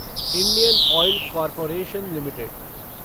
Indian oil corporation limited